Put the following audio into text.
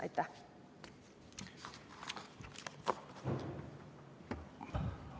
Aitäh!